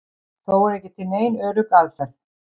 Þó er ekki til nein örugg aðferð.